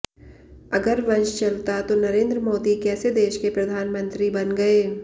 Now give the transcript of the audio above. अगर वंश चलता तो नरेन्द्र मोदी कैसे देश के प्रधानमंत्री बन गए